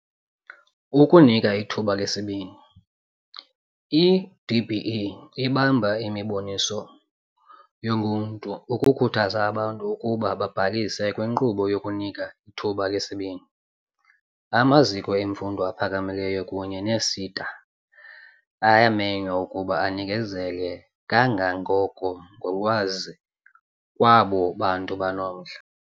Ukunika ithuba lesibini. I-DBE ibamba imiboniso yoluntu ukukhuthaza abantu ukuba babhalise kwinkqubo yokuNika iThuba leSibini. Amaziko emfundo aphakamileyo kunye nee-SETA ayamenywa ukuba anikezele kangangoko ngolwazi kwabo bantu banomdla.